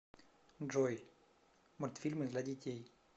джой мультфильмы для детей